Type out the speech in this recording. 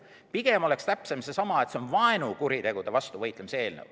Pigem oleks täpsem, et see on vaenukuritegude vastu võitlemise eelnõu.